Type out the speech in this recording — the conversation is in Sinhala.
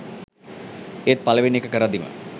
ඒත් පළවෙනි එක කරද්දිම